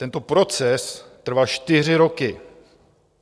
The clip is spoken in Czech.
Tento proces trval čtyři roky.